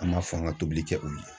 An b'a fɔ an ka tobili kɛ olu ye.